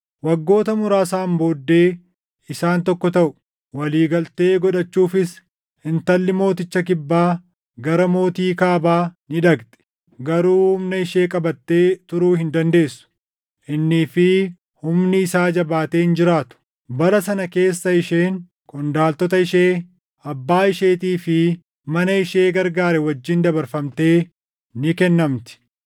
Waggoota muraasaan booddee isaan tokko taʼu; walii galtee godhachuufis intalli mooticha Kibbaa gara mootii Kaabaa ni dhaqxi; garuu humna ishee qabattee turuu hin dandeessu; innii fi humni isaa jabaatee hin jiraatu. Bara sana keessa isheen, qondaaltota ishee, abbaa isheetii fi nama ishee gargaare wajjin dabarfamtee ni kennamti.